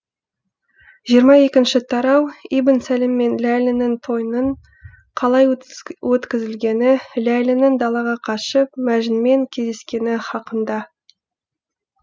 жиырма екінші тарау ибн сәлім мен ләйлінің тойының қалай өткізілгені ләйлінің далаға қашып мәжінмен кездескені хақында